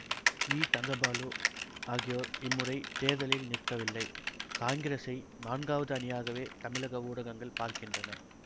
we Thangkabalu ஆகியோர் இம்முறை தேர்தலில் நிற்கவில்லை காங்கிரசை நான்காவது அணியாகவே தமிழக ஊடகங்கள் பார்க்கின்றன